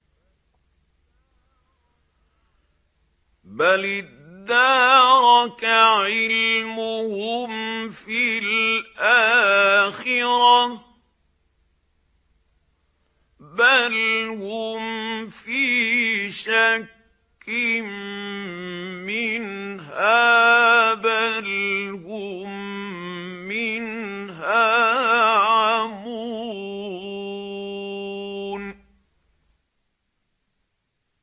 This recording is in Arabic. بَلِ ادَّارَكَ عِلْمُهُمْ فِي الْآخِرَةِ ۚ بَلْ هُمْ فِي شَكٍّ مِّنْهَا ۖ بَلْ هُم مِّنْهَا عَمُونَ